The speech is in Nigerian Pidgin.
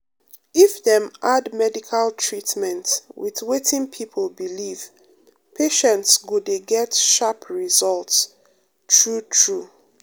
if dem add medical treatment with wetin people believe patients go dey get sharp result true true.